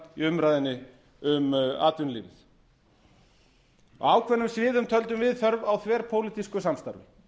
umræðunni um atvinnulífið á ákveðnum sviðum töldum við þörf á þverpólitísku samstarfi